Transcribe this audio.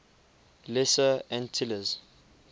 lesser antilles